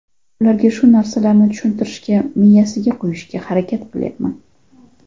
Ularga shu narsalarni tushuntirishga, miyasiga qo‘yishga harakat qilyapman.